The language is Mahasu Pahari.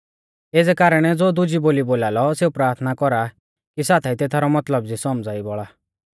एज़ै कारणै ज़ो दुजी बोली बोलालौ सेऊ प्राथना कौरा कि साथाई तेथारौ मतलब भी सौमझ़ाई बौल़ा